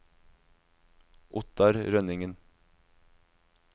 Ottar Rønningen